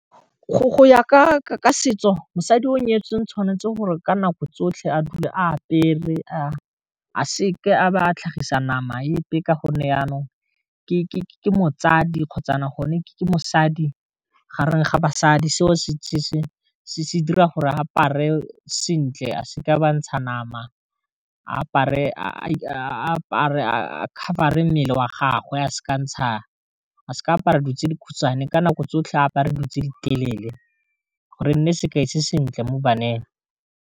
Go ya ka setso mosadi o nyetsweng tshwanetse gore ka nako tsotlhe a dule a apere a seke a ba a tlhagisa nama epe ka gonne yanong ke motsadi kgotsa gone ke mosadi gareng ga basadi se dira gore apare sentle a seke a ba ntsha nama apare a cover-e mmele wa gagwe a seka ntsha a se ke apare dutse di khutshane ka nako tsotlhe apare dilo tse di telele gore nne sekai se sentle mo baneng.